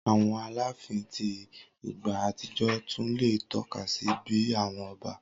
Awọn alaafin ti igba atijọ tun le tọka si bi awọn ọba.